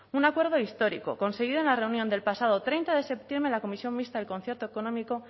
un acuerdo histórico conseguido en la reunión del pasado treinta de septiembre la comisión mixta del concierto económico